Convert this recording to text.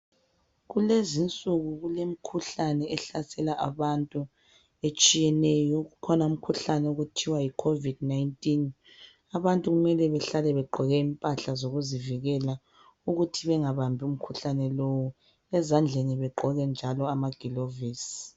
kulezinsuku kulemikhuhlane ehlasela abantu etshiyeneyo kukhona umkhuhlane okuthwa yi COVID 19 abantu kumele behlale begqoke impahla zokuzivikela ukuthi bengabambi ukhuhlane lowu ezandleni begqoke njalo amagilovisi